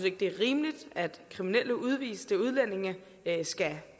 ikke det er rimeligt at kriminelle udviste udlændinge skal